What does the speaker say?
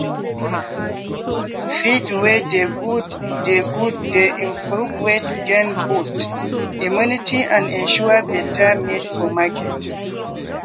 feed wey dey good dey good dey improve weight gain boost immunity and ensure better meat for market.